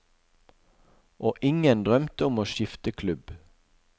Og ingen drømte om å skifte klubb.